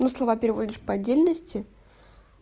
ну слова переводишь по-отдельности